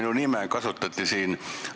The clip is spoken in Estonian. Jah, kuna siin kasutati minu nime.